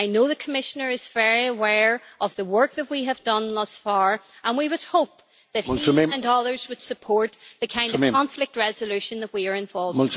I know the Commissioner is very aware of the work that we have done thus far, and we would hope that he and others would support the kind of conflict resolution that we are involved in.